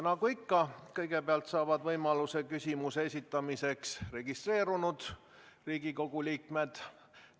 Nagu ikka saavad kõigepealt võimaluse küsimuse esitamiseks registreerunud Riigikogu liikmed.